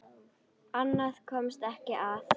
Annað komst ekki að!